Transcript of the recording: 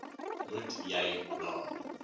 moet jy na